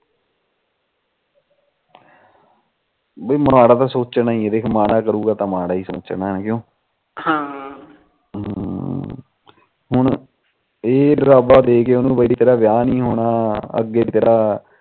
ਬੇ ਮਾੜਾ ਤਾ ਸੋਚਣਾ ਜੇ ਮਾੜਾ ਕਰੂਗਾ ਤਾ ਮਾੜਾ ਸੋਚਣਾ ਕਿਉ ਹਾ ਹਮ ਹੁਣ ਇਹ ਡਰਾਵਾ ਦੇਕੇ ਤੇਰਾ ਵਿਆਹ ਨੀ ਹੋਣਾ